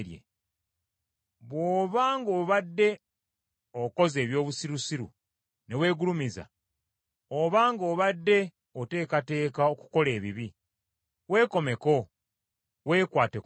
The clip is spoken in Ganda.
Bw’oba ng’obadde okoze eby’obusirusiru ne weegulumiza, obanga obadde oteekateeka okukola ebibi, weekomeko weekwate ku mumwa.